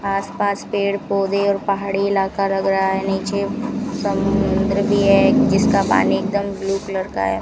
आसपास पेड़ पौधे और पहाड़ी इलाका लग रहा है नीचे समुद्र भी है जिसका पानी एकदम ब्लू कलर का है।